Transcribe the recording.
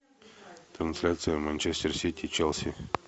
трансляция манчестер сити челси